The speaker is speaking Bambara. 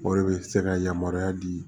O de bɛ se ka yamaruya di